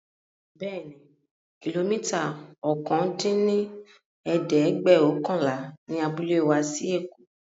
Bẹẹni, kilomita ọ̀kan dín ní ẹ̀ẹ́dẹ́gbẹ́ọ̀kànlá ni abúlé wa sí èkó